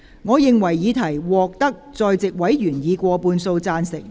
我認為議題獲得在席委員以過半數贊成。